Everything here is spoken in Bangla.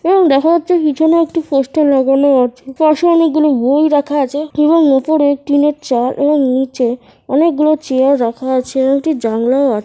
এবং দেখা হচ্ছে পিছনে একটি পোস্টার লাগানো আছে পাশে অনেক গুলো বই রাখা আছে এবং উপরে টিনের চাল এবং নিচে অনেকগুলো চেয়ার রাখা আছে এবং একটি জানালাও আ--